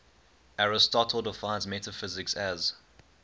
aristotle defines metaphysics as